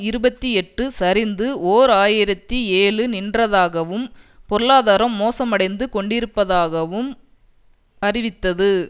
இருபத்தி எட்டு சரிந்து ஓர் ஆயிரத்தி ஏழு நின்றதாகவும் பொருளாதாரம் மோசமடைந்து கொண்டிருப்பதாகவும் அறிவித்தது